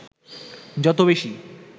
যত বেশি